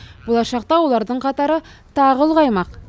болашақта олардың қатары тағы ұлғаймақ